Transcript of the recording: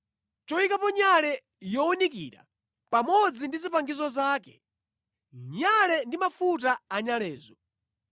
choyikapo nyale yowunikira pamodzi ndi zipangizo zake, nyale ndi mafuta anyalezo;